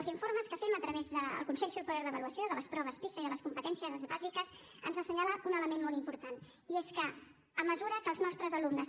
els informes que fem a través del consell superior d’avaluació de les proves pisa i de les competències bàsiques ens assenyalen un element molt important i és que a mesura que els nostres alumnes